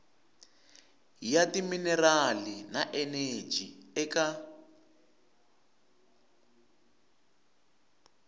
ya timinerali na eneji eka